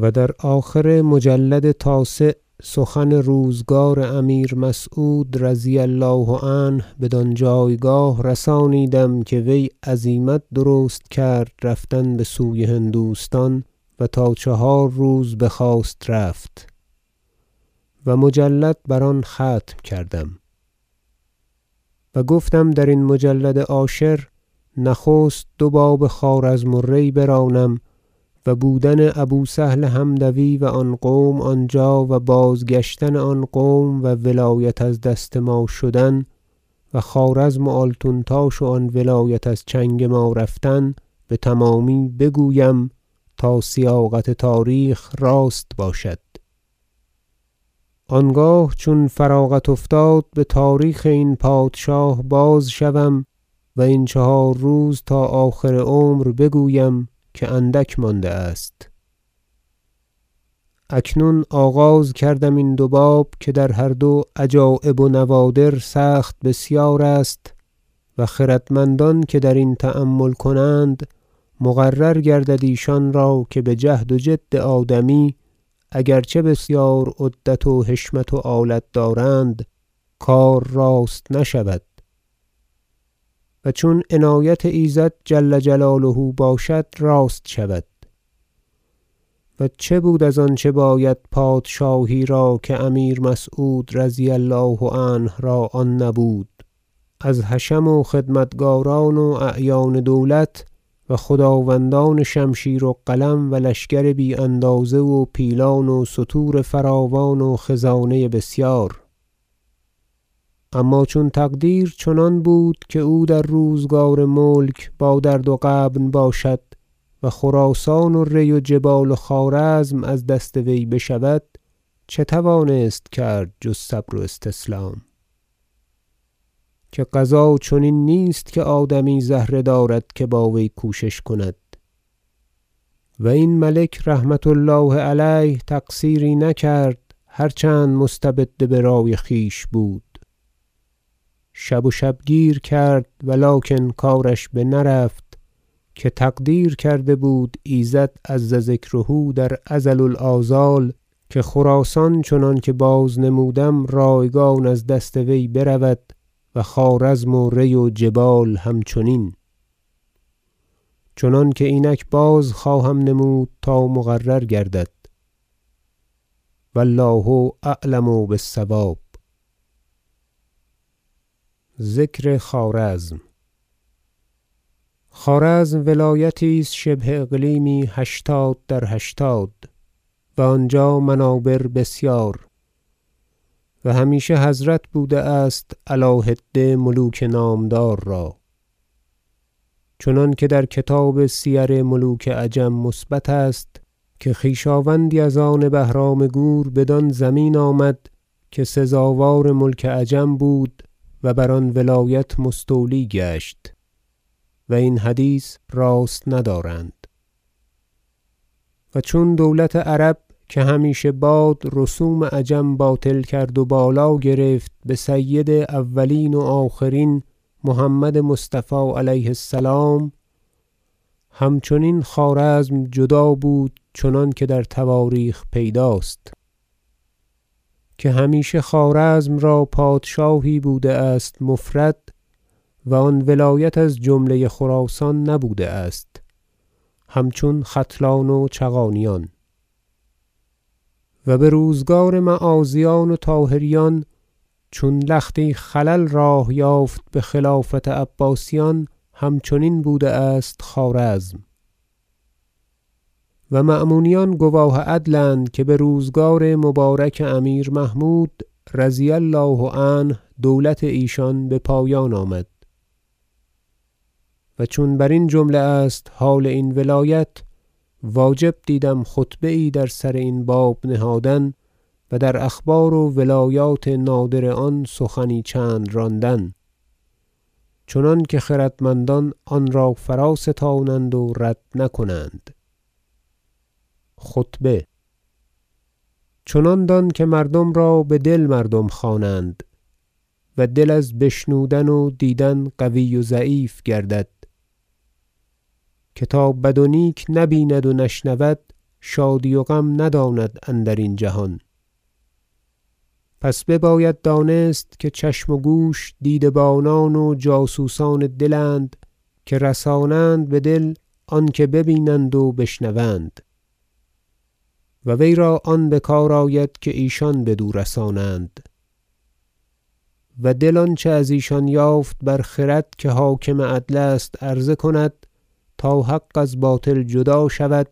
و در آخر مجلد تاسع سخن روزگار امیر مسعود رضی الله عنه بدان جایگاه رسانیدم که وی عزیمت درست کرد رفتن بسوی هندوستان را و تا چهار روز بخواست رفت و مجلد بر آن ختم کردم و گفتم درین مجلد عاشر نخست دو باب خوارزم و ری برانم و بودن ابو سهل حمدوی و آن قوم آنجا و بازگشتن آن قوم و ولایت از دست ما شدن و خوارزم و آلتونتاش و آن ولایت از چنگ ما رفتن بتمامی بگویم تا سیاقت تاریخ راست باشد آنگاه چون از آن فراغت افتاد بتاریخ این پادشاه باز شوم و این چهار روز تا آخر عمر بگویم که اندک مانده است اکنون آغاز کردم این دو باب که در هر دو عجایب و نوادر سخت بسیار است و خردمندان که درین تأمل کنند مقرر گردد ایشان را که بجهد و جد آدمی اگر چه بسیار عدت و حشمت و آلت دارند کار راست نشود و چون عنایت ایزد جل جلاله باشد راست شود و چه بود از آنچه باید پادشاهی را که امیر مسعود رضی الله عنه را آن نبود از حشم و خدمتکاران و اعیان دولت و خداوندان شمشیر و قلم و لشکر بی اندازه و پیلان و ستور فراوان و خزانه بسیار اما چون تقدیر چنان بود که او در روزگار ملک با درد و غبن باشد و خراسان و ری و جبال و خوارزم از دست وی بشود چه توانست کرد جز صبر و استسلام که قضا چنین نیست که آدمی زهره دارد که با وی کوشش کند و این ملک رحمة الله علیه تقصیری نکرد هر چند مستبد برای خویش بود شب و شبگیر کرد و لکن کارش بنرفت که تقدیر کرده بود ایزد عز ذکره در ازل الآزال که خراسان چنانکه باز نمودم رایگان از دست وی برود و خوارزم و ری و جبال همچنین چنانک اینک باز خواهم نمود تا مقرر گردد و الله اعلم بالصواب تعریف ولایت خوارزم خوارزم ولایتی است شبه اقلیمی هشتاد در هشتاد و آنجا منابر بسیار و همیشه حضرت بوده است علی حده ملوک نامدار را چنانکه در کتاب سیر ملوک عجم مثبت است که خویشاوندی از آن بهرام گور بدان زمین آمد که سزاوار ملک عجم بود و بر آن ولایت مستولی گشت و این حدیث راست ندارند و چون دولت عرب که همیشه باد رسوم عجم باطل کرد و بالا گرفت بسید اولین و آخرین محمد مصطفی علیه السلام همچنین خوارزم جدا بود چنانکه در تواریخ پیداست که همیشه خوارزم را پادشاهی بوده است مفرد و آن ولایت از جمله خراسان نبوده است همچون ختلان و چغانیان و بروزگار معاذیان و طاهریان چون لختی خلل راه یافت بخلافت عباسیان همچنین بوده است خوارزم و مأمونیان گواه عدل اند که بروزگار مبارک امیر محمود رضی الله عنه دولت ایشان بپایان آمد و چون برین جمله است حال این ولایت واجب دیدم خطبه یی در سر این باب نهادن و در اخبار و روایات نادر آن سخنی چند راندن چنانکه خردمندان آنرا فرا ستانند و رد نکنند خطبه چنان دان که مردم را به دل مردم خوانند و دل از بشنودن و دیدن قوی و ضعیف گردد که تا بد و نیک نبیند و نشنود شادی و غم نداند اندرین جهان پس بباید دانست که چشم و گوش دیده بانان و جاسوسان دل اند که رسانند به دل آنکه به بینند و بشنوند و وی را آن بکار آید که ایشان بدو رسانند و دل آنچه از ایشان یافت بر خرد که حاکم عدل است عرضه کند تا حق از باطل جدا شود